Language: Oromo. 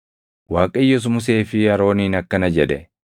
Waaqayyos Musee fi Arooniin akkana jedhe;